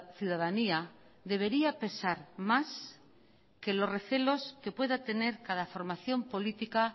ciudadanía debería pesar más que los recelos que pueda tener cada formación política